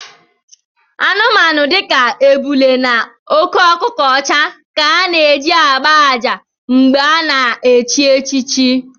Anụmanụ dika ébulé na óké ọkụkọ ọcha ka a na-eji ágbá àjà mgbè a na-echi echichi